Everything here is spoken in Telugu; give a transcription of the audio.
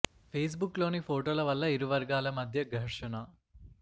పేస్ బుక్ లోని ఫోటోల వల్ల ఇరువర్గాల మధ్య ఘర్షణ